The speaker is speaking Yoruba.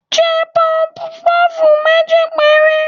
jẹ pufú pufú mejí pẹre